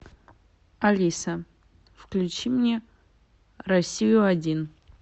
алиса включи мне россию один